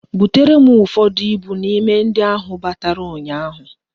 Butere m ụfọdụ ibu n'ime ndị a ahụ batara ụnyaahụ